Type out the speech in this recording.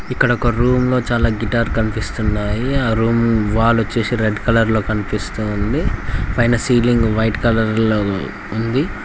ఇక్కడ ఒక రూమ్ లో చాలా గిటార్ కనిపిస్తున్నాయి ఆ రూమ్ వాల్ వచ్చేసి రెడ్ కలర్ లో కనిపిస్తూ ఉంది పైన సీలింగ్ వైట్ కలర్ లో ఉంది.